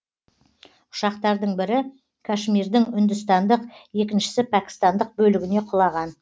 ұшақтардың бірі кашмирдің үндістандық екіншісі пәкістандық бөлігіне құлаған